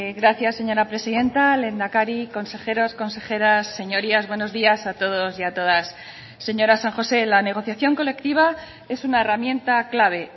gracias señora presidenta lehendakari consejeros consejeras señorías buenos días a todos y a todas señora san josé la negociación colectiva es una herramienta clave